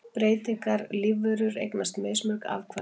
Breytilegar lífverur eignast mismörg afkvæmi.